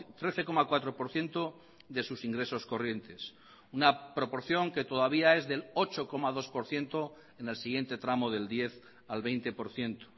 trece coma cuatro por ciento de sus ingresos corrientes una proporción que todavía es del ocho coma dos por ciento en el siguiente tramo del diez al veinte por ciento